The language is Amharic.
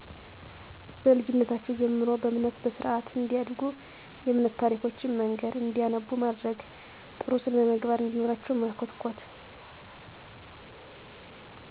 በልጂነታቸው ጀምሮ በእምነት በስርአት እንዲያድጉ የእምነት ታሪኮችን መንገር እንዲያነቡ ማድረግ ጥሩ ስነመግባር እንዲኖራቸው መኮትኮት።